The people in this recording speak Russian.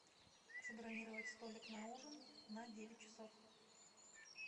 забронировать столик на ужин на девять часов